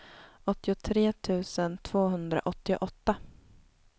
åttiotre tusen tvåhundraåttioåtta